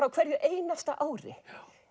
á hverju einasta ári